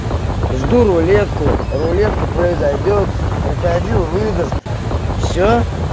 жду рулетку рулетка произойдёт крокодил выдаст все